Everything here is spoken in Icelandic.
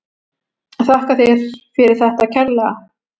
Þakka þér fyrir þetta kærlega.